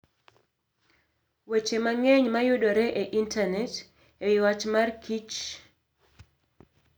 Weche mang'eny mayudore e Intanet e wi wach kich mar opich okapu, yudore e Intanet.